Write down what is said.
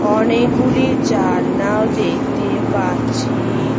অনেকগুলি জানালা দেখতে পাচ্ছি ।